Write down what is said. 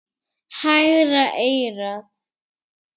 Hægra eyrað.